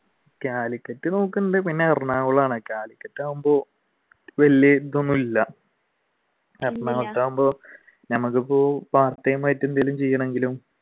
കാലിക്കട്ട് നോക്കുന്നുണ്ട് പിന്നെ എറണാകുളമാണ് കാലിക്കട്ട് ആകുമ്പോ വലുതായിട്ട് ഒന്നുമില്ല എറണാകുളത്താകുമ്പോൾ ഞമ്മക്ക് ഇപ്പൊ part time ആയിട്ട് എന്തെങ്കിലും ചെയ്യണെങ്കിലും